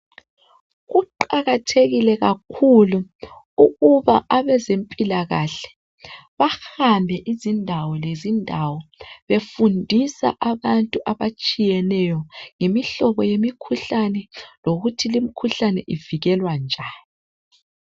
kuqakathekile kakhulu ukuba abezempilakahle bahambe izindawo lezindawo befundisa abantu abatshiyeneyo yimihlobo yemikhuhlane lokuthi le imikhuhlane ivikelwa njani